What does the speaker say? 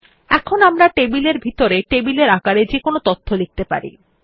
এখন আমরা টেবিল এর ভিতরে টেবিলের আকারে যেকোনো তথ্য লিখতে পারি